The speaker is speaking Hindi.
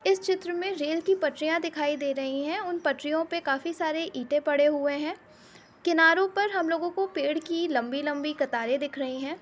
इस चित्र में रेल की पटरियां दिखाई दे रही हैं उन पटरियों पे काफी सारे ईटे पड़े हुए है। किनारों पर हम लोगों को पेड़ की लम्बी लम्बी कतारें दिख रही हैं।